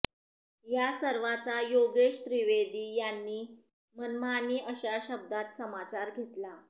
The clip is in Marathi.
या सर्वाचा योगेश त्रिवेदी यांनी मनमानी अशा शब्दात समाचार घेतला